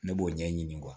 Ne b'o ɲɛɲini